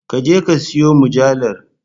Ka je ka siyon mujallar